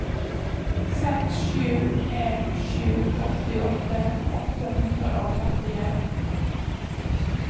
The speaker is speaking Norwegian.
seks sju en sju åttiåtte åtte hundre og trettien